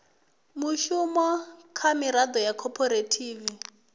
mushumo kha miraḓo ya khophorethivi